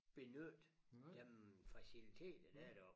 Benytte dem faciliteter der er deroppe